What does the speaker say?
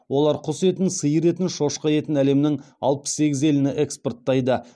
олар құс етін сиыр етін шошқа етін әлемнің алпыс сегіз еліне экспорттайды